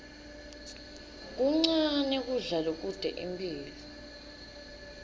kuncane kudla lokute imphilo